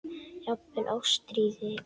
Jafnvel Ástríði og